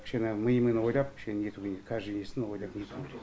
кішкене мимен ойлап кішкене керек каждый несін ойлап керек